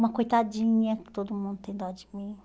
Uma coitadinha, que todo mundo tem dó de mim.